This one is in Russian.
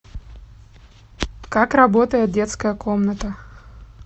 как работает детская комната